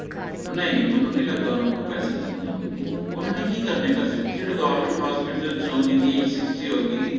ਨਹੀਂ ਮੈਨੂੰ ਨੀ ਲੱਗਦਾ ਓਹਨਾ ਨੂੰ ਕੋਈ ਪੈਸੇ ਦਿੰਦੇ ਹੋਣਗੇ ਓਹਨਾ ਨੇ ਕਿ ਕਰਨੇ ਆ ਪੈਸੇ ਪੁਸੇ ਜਿਹੜਾ government hospital ਚੋ ਜਿਹਦੀ age sixty ਹੋਗੀ